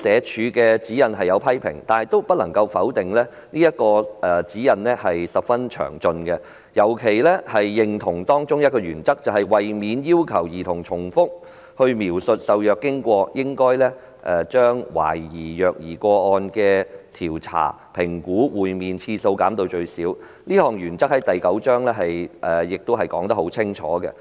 主席，儘管如此，不能否定的是，這份指引十分詳盡，我們尤其認同當中一項原則："為免要求兒童重複描述受虐經過，應將懷疑虐兒個案的調查/評估會面次數減至最少"，這項原則清楚載於指引的第九章。